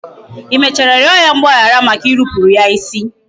I mechara rịọ ya mgbaghara maka irupuru ya isi?